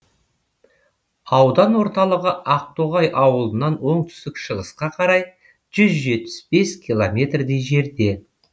аудан орталығы ақтоғай ауылынан оңтүстік шығысқа қарай жүз жетпіс бес километрдей жерде